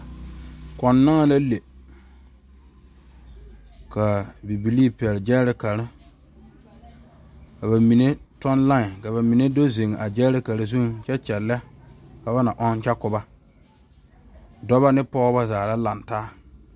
Kõɔ naŋ la le ka bibile pegle gyerekare ka bamine toɔ lae ka bamine do zu a gyerekare zuŋ kyɛ kyɛle ka ba na ɔŋ kyɛ koba dɔɔba ne pɔgeba zaa la lantaa.